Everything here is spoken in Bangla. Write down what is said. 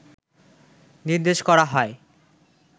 নির্দেশ করা হয়